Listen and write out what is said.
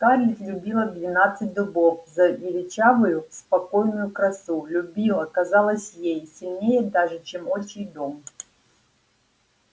скарлетт любила двенадцать дубов за величавую спокойную красу любила казалось ей сильнее даже чем отчий дом